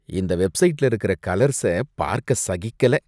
இந்த வெப்சைட்ல இருக்கற கலர்ஸ பார்க்க சகிக்கல.